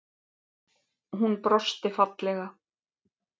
Hún brosti fallega.